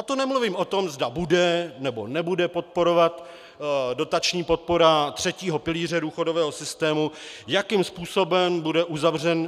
A to nemluvím o tom, zda bude, nebo nebude podporovat dotační podpora třetího pilíře důchodového systému, jakým způsobem bude